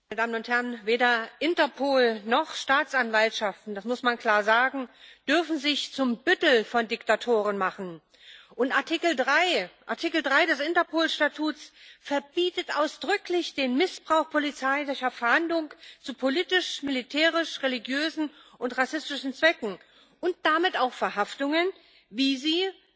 Frau Präsidentin! Meine Damen und Herren! Weder Interpol noch Staatsanwaltschaften das muss man klar sagen dürfen sich zum Büttel von Diktatoren machen. Artikel 3 des Interpolstatuts verbietet ausdrücklich den Missbrauch polizeilicher Fahndung zu politisch militärisch religiösen und rassistischen Zwecken und damit auch Verhaftungen, wie sie